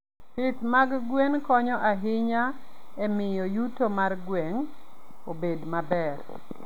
Pith mag gwen konyo ahinya e miyo yuto mar gweng' obed maber.